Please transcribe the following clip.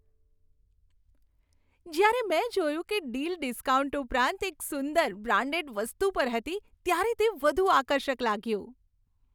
જ્યારે મેં જોયું કે ડીલ ડિસ્કાઉન્ટ ઉપરાંત એક સુંદર, બ્રાન્ડેડ વસ્તુ પર હતી ત્યારે તે વધુ આકર્ષક લાગ્યું.